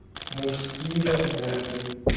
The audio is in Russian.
мужские разборки